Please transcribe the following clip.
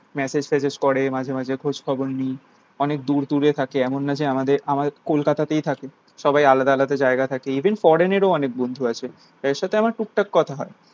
massege ট্যাসেজ করে মাঝে মাঝে খোঁজ খবর নি অনেক দূর দূরে থাকে এমন না যে আমাদের আমাদের কলকাতাতেই থাকে সবাই আলাদা আলাদা জায়গায় থাকে even foreign এর ও অনেক বন্ধু ও আছে তাদের সাথে আমার টুকটাক কথা হয়